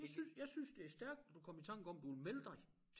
Jeg synes jeg synes det stærkt at du kunne komme i tanker om du ville melde dig